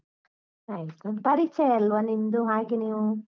ಆಯ್ತು, ಪರಿಚಯ ಅಲ್ವ ನಿಮ್ದು ಹಾಗೆ ನೀವು.